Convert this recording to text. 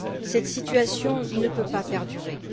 Cette situation ne peut pas perdurer.